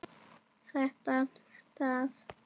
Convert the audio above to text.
Lagt af stað